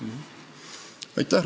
Aitäh!